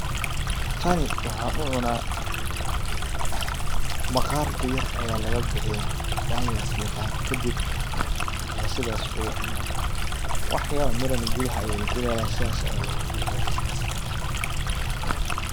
Tani waxaan u cuna maqarka yar aya lagabixiya waa layar fiiqa kadib aya sidas lagu cuna. Waxyaabo mirana gudaha ayay ku leedahay sidas aya looga bixiya.